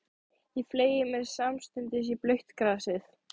Ég fleygði mér samstundis í blautt grasið.